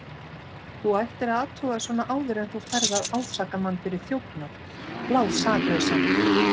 Þú ættir að athuga svona áður en þú ferð að ásaka mann fyrir þjófnað, blásaklausan.